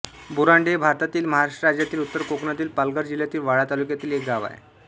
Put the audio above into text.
बोरांडे हे भारतातील महाराष्ट्र राज्यातील उत्तर कोकणातील पालघर जिल्ह्यातील वाडा तालुक्यातील एक गाव आहे